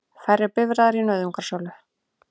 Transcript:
Færri bifreiðar í nauðungarsölu